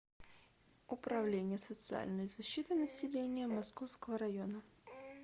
управление социальной защиты населения московского района